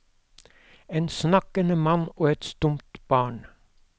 En snakkende mann og et stumt barn.